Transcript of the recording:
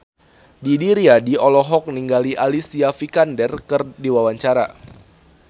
Didi Riyadi olohok ningali Alicia Vikander keur diwawancara